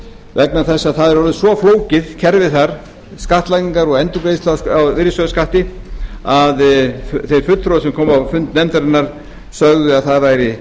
vegna þess að það er orðið svo flókið kerfið þar skattlagningar og endurgreiðsla á virðisaukaskatti að þeir fulltrúar sem komu á fund nefndarinnar sögðu að það væri